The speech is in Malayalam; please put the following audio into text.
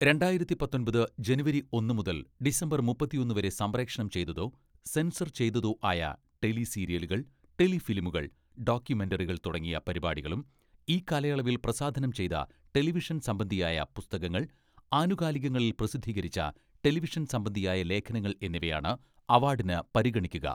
രണ്ടായിരത്തി പത്തൊമ്പത് ജനുവരി ഒന്നു മുതൽ ഡിസംബർ മുപ്പത്തിയൊന്ന് വരെ സംപ്രേഷണം ചെയ്തതോ സെൻസർ ചെയ്തതോ ആയ ടെലിസീരിയലുകൾ, ടെലിഫിലിമുകൾ, ഡോക്യുമെന്ററികൾ തുടങ്ങിയ പരിപാടികളും ഈ കാലയളവിൽ പ്രസാധനം ചെയ്ത ടെലിവിഷൻ സംബന്ധിയായ പുസ്തകങ്ങൾ, ആനുകാലികങ്ങളിൽ പ്രസിദ്ധീകരിച്ച ടെലിവിഷൻ സംബന്ധിയായ ലേഖനങ്ങൾ എന്നിവയാണ് അവാഡിന് പരിഗണിക്കുക.